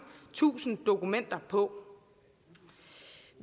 tusinde dokumenter på